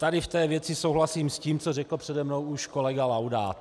Tady v té věci souhlasím s tím, co řekl přede mnou už kolega Laudát.